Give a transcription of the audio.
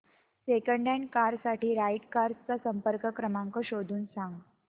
second hand car साठी Right Cars चा संपर्क क्रमांक शोधून सांग